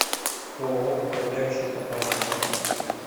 ооо управляющая компания квартал